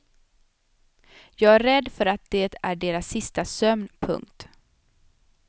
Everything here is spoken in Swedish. Jag är rädd för att det är deras sista sömn. punkt